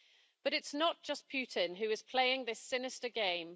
But it's not just Putin who is playing this sinister game.